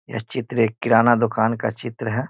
यह चित्र एक किराना दुकान का चित्र है।